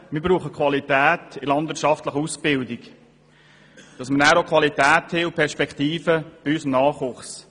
Wir brauchen eine gute Qualität in der landwirtschaftlichen Ausbildung, damit unser Nachwuchs qualifiziert ist und eine Perspektive hat.